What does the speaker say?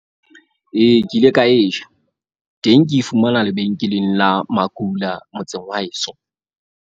Ee, ke ile ka e ja teng, ke e fumana lebenkeleng la makula motseng wa heso.